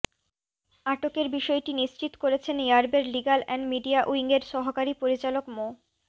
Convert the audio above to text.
আটকের বিষয়টি নিশ্চিত করেছেন র্যাবের লিগ্যাল এন্ড মিডিয়া উইংয়ের সহকারী পরিচালক মো